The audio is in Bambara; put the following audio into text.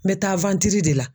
N bɛ taa de la.